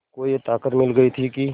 को ये ताक़त मिल गई थी कि